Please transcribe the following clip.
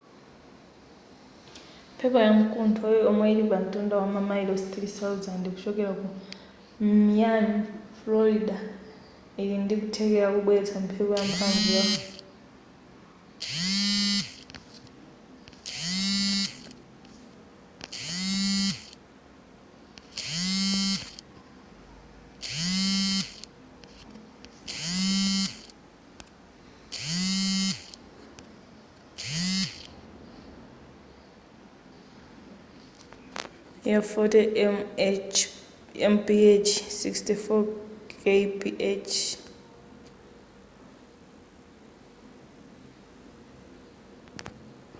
mphepo ya mkuntho yomwe ili pamtunda wa mamayilosi 3,000 kuchokera ku miami frorida ili ndi kuthekera kobweretsa mphepo yamphamvu ya 40 mph 64 kph